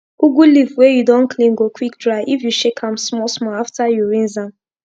ugu leaf wey u don clean go quick dry if u shake am small small after u rinse am